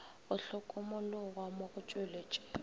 go hlokomologwa mo go tšweletšego